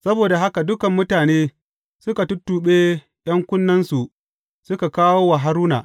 Saboda haka dukan mutane suka tuttuɓe ’yan kunnensu suka kawo wa Haruna.